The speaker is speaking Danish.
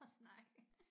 Og snakke